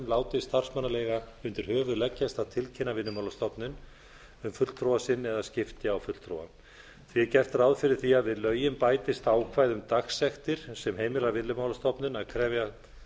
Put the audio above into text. láti starfsmannaleiga undir höfuð leggjast að tilkynna vinnumálastofnun um fulltrúa sinn eða skipti á fulltrúa sé gert ráð fyrir því að við lögin bætist ákvæði um dagsektir sem heimila vinnumálastofnun að krefja